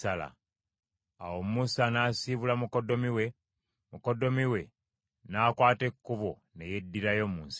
Awo Musa n’asiibula mukoddomi we, mukoddomi we n’akwata ekkubo ne yeddirayo mu nsi y’ewaabwe.